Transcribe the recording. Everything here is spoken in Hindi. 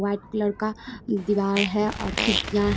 वाइट कलर का दिवार है और खिडकियां --